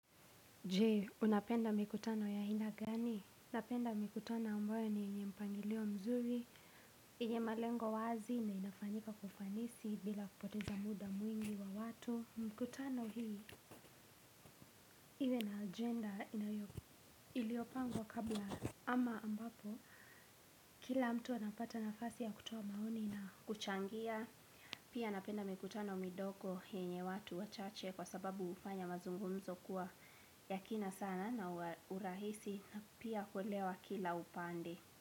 Je unapenda mikutano ya aina gani napenda mikutano ambayo ni yenye mpangilio mzuri yenye malengo wazi na inafanyika kwa ufanisi bila kupoteza muda mwingi wa watu. Mikutano hii, iwe na agenda iliopangwa kabla. Ama ambapo, kila mtu anapata nafasi ya kutoa maoni na kuchangia. Pia napenda mikutano midogo yenye watu wa chache kwa sababu hufanya mazungumzo kuwa ya kina sana na ya urahisi. Pia kuelewa kila upande.